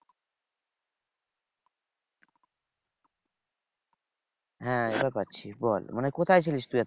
হ্যাঁ এবার পাচ্ছি বল মানে কোথায় ছিলিস তুই?